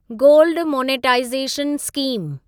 gold monetisation scheme